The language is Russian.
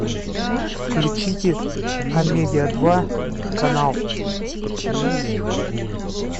включите амедиа два канал